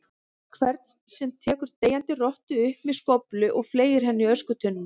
hvern sem tekur deyjandi rottu upp með skóflu og fleygir henni í öskutunnuna.